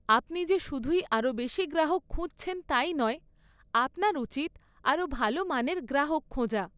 আপনি যে শুধুই আরও বেশি গ্রাহক খুঁজছেন তাই নয়, আপনার উচিত আরও ভালো মানের গ্রাহক খোঁজা।